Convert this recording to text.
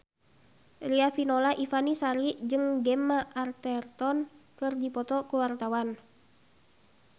Riafinola Ifani Sari jeung Gemma Arterton keur dipoto ku wartawan